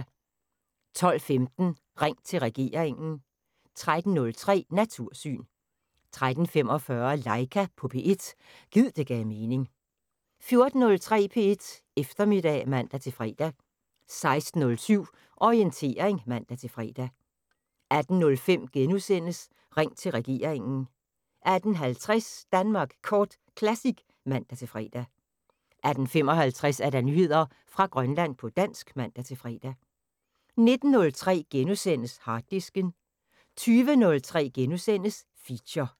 12:15: Ring til regeringen 13:03: Natursyn 13:45: Laika på P1 – gid det gav mening 14:03: P1 Eftermiddag (man-fre) 16:07: Orientering (man-fre) 18:05: Ring til regeringen * 18:50: Danmark Kort Classic (man-fre) 18:55: Nyheder fra Grønland på dansk (man-fre) 19:03: Harddisken * 20:03: Feature *